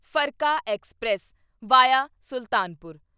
Farakka express via Sultanpur